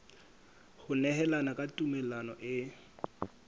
ho nehelana ka tumello e